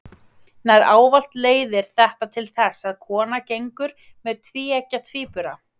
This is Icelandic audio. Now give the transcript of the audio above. Nær ávallt leiðir þetta til þess að kona gengur með tvíeggja tvíbura.